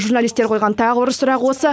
журналистер қойған тағы бір сұрақ осы